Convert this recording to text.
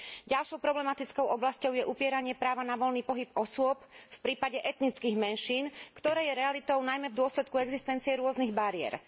Ďalšou problematickou oblasťou je upieranie práva na voľný pohyb osôb v prípade etnických menšín, ktoré je realitou najmä v dôsledku existencie rôznych bariér.